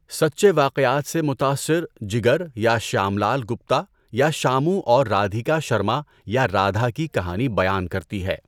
سچے واقعات سے متاثر، جگریا شیام لال گپتا یا شامو اور رادھیکا شرما یا رادھا کی کہانی بیان کرتی ہے۔